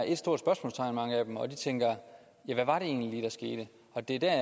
ét stort spørgsmålstegn og tænker ja hvad var det egentlig lige der skete og det er der